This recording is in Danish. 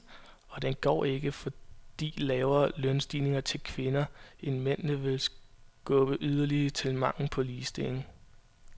Og den går ikke, fordi lavere lønstigninger til kvinderne end til mændene vil skubbe yderligere til manglen på ligestilling.